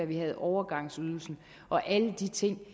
vi havde overgangsydelsen og alle de ting